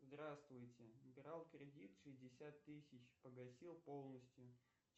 здравствуйте брал кредит шестьдесят тысяч погасил полностью